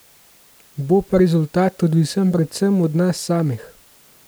Bo pa rezultat odvisen predvsem od nas samih.